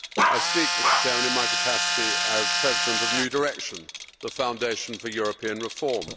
I speak, Mr President, in my capacity as President of New Direction, the Foundation for European Reform.